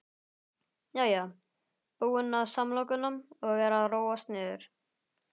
Jæja, búin með samlokuna og er að róast niður.